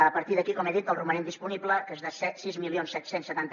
a partir d’aquí com he dit el romanent disponible que és de sis mil set cents i setanta